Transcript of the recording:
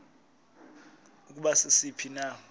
ukuba sisiphi na